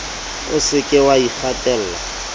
o se ke wa ikgatella